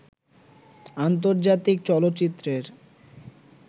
আন্তর্জাতিক চলচ্চিত্রের